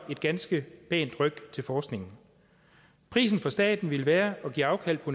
give et ganske pænt ryk til forskningen prisen for staten ville være at give afkald på